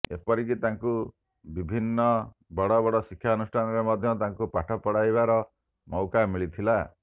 ଏପରିକି ତାଙ୍କୁ ବିଭିନ୍ନ ବଡ଼ବଡ଼ ଶିକ୍ଷାନୁଷ୍ଠାନରେ ମଧ୍ୟ ତାଙ୍କୁ ପାଠ ପଢ଼ାଇବାର ମଉକା ମିଳିଥିଲା